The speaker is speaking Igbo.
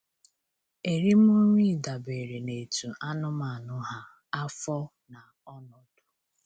Eri m nri dabere n'etu anụmanụ ha, afọ, na ọnọdụ.